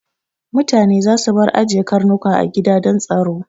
Mutane za su bar ajiye Karnuka a gida don tsaro